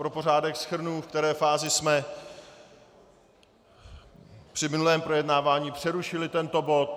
Pro pořádek shrnu, ve které fázi jsme při minulém projednávání přerušili tento bod.